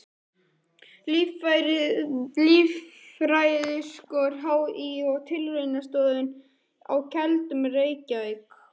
Líffræðiskor HÍ og Tilraunastöðin á Keldum, Reykjavík.